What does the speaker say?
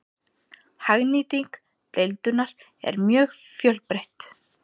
Hagnýting deildunar er mjög fjölbreytt.